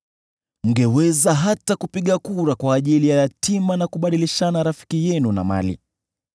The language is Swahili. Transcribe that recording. Mngeweza hata kupiga kura kwa ajili ya yatima, na kubadilishana rafiki yenu na mali.